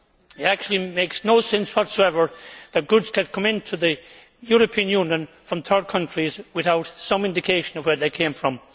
It actually makes no sense whatsoever that goods can come into the European Union from third countries without some indication of where they came from.